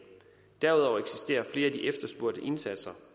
derudover eksisterer flere af de efterspurgte indsatser